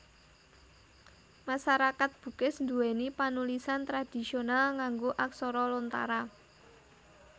Masarakat Bugis nduwèni panulisan tradhisional nganggo aksara Lontara